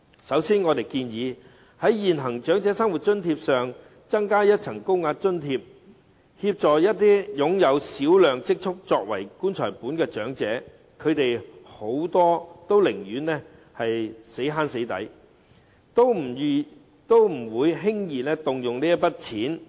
首先，我們建議在現行長生津上增加一層高額津貼，以協助一些擁有小量積蓄作為"棺材本"的長者，他們很多寧願省吃儉用，也不會輕易動用這筆金錢。